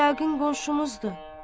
Pək yəqin qonşumuzdu.